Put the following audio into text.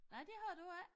Nej det har du ikke